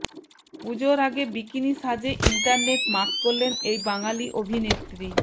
পুজোর আগে বিকিনি সাজে ইন্টারনেট মাত করলেন এই বাঙালি অভিনেত্রী